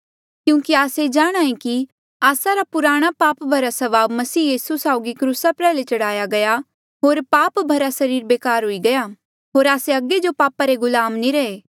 क्यूंकि आस्से जाणहां ऐें कि आस्सा री पुराणी पाप भरा स्वभाव मसीह यीसू साउगी क्रूसा प्रयाल्हे चढ़ाई गई होर पाप भरा सरीर बेकार हुई गया होर आस्से अगे जो पापा रे गुलाम नी रहे